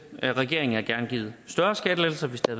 regeringen havde gerne givet større skattelettelser hvis det